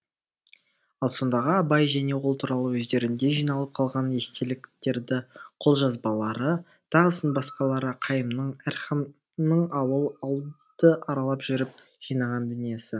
ал сондағы абай және ол туралы өздерінде жиналып қалған естеліктерді қолжазбалары тағысын басқалары қайымның әрхамның ауыл ауылды аралап жүріп жинаған дүниесі